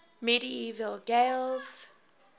medieval gaels